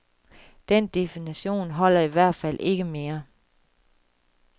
Den definition holder i hvert fald ikke mere.